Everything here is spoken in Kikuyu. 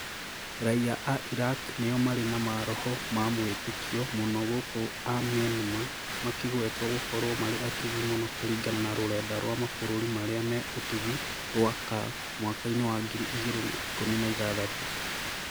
Raia a Iraq nĩo marĩ na maroho ma wĩtĩkio mũno gũkũ a Myanmar makĩgwetwo gũkorwo marĩ atugi mũno kũringana na rũrenda rwa mabũrũri marĩa me ũtugi rwa CAF mwaka-inĩ wa ngiri igĩrĩ na ikũmi na ithathatũ